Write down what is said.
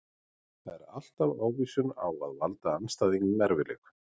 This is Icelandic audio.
Það er alltaf ávísun á að valda andstæðingunum erfiðleikum.